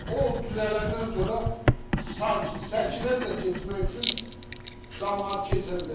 O düzələndən sonra səkidən də keçmək üçün camaat keçə biləcək.